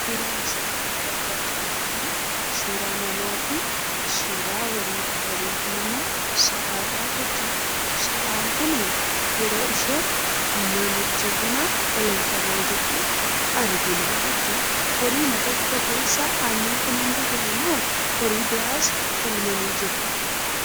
Suuraa asi gaditti argaa jirru kuni, suuraa na.aa fi suuraa horiidha. horiin kun immoo, sa'adha. sa'aan kunii yeroo isheen namicha kanaan eelmamaa jirtu arginaa jechudha. horiima tokko keessa aannan kun hunduu ba'eemo, horii biraas eelmani jiru?